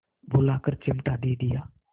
बुलाकर चिमटा दे दिया